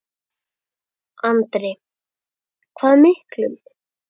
Andri: Hvað miklum?